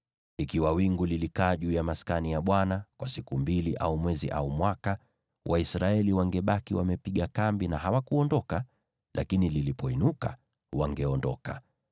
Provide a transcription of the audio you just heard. Ikiwa wingu lilikaa juu ya Maskani kwa siku mbili au mwezi au mwaka, Waisraeli wangebaki wamepiga kambi na hawakuondoka; lakini lilipoinuka, wangeondoka.